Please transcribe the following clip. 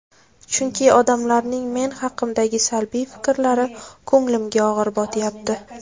Chunki odamlarning men haqimdagi salbiy fikrlari ko‘nglimga og‘ir botyapti.